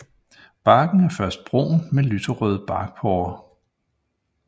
Barken er først brun med lyse barkporer